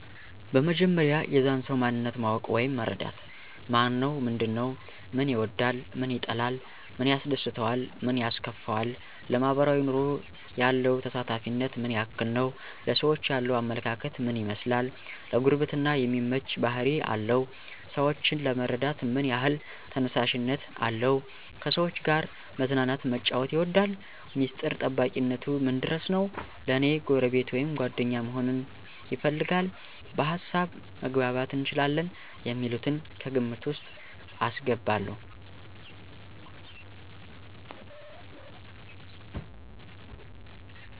በመጀመሪያ የዛን ሰዉ ማንነት ማወቅ ወይም መረዳት። ማነው ምንድን ነዉ፦ ምን ይወዳል ምን ይጠላል፣ ምን ያስደስተዋል ምን ያስከፈዋል፣ ለማሕበራዊ ኑሮ ያለው ተሳታፊነት ምን ያክል ነዉ፣ ለሰዎች ያለዉ አመለካከት ምን ይመስላል፣ ለጉርብትና የሚመች ባሕሪ አለው ?ሰወችን ለመርዳት ምን ያሕል ተነሳሽነት አለው፣ ከሰዎች ጋር መዝናናት መጫወት ይወዳል፣ ሚስጥር ጠባቂነቱ ምን ድረስ ነዉ፣ ለኔ ጎረቤት ወይም ጓደኛ መሆንን ይፈልጋል፣ በሀሳብ መግባባት እንችላለን የሚሉትን ከግምት ዉስጥ አስገባለዉ።